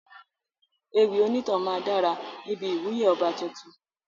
Ewì onítàn máa dára níbi ìwúyè ọba tuntun.